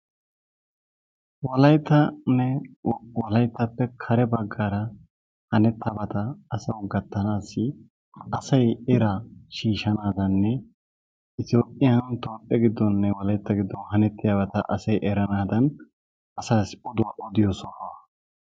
Wolayttanne wolayttappe kare baggaara hanettabata asawu gattabaassi asayi eraa shiishshanaadaaninne toophe giddooninne wolaytta giddon hanettiyabata asayi eranaadan asaassi oduwa odiyo sohuwa.